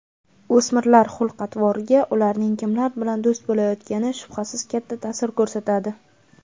O‘smirlarning xulq-atvoriga ularning kimlar bilan do‘st bo‘layotgani shubhasiz katta ta’sir ko‘rsatadi.